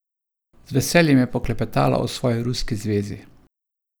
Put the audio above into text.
Z veseljem je poklepetala o svoji ruski zvezi.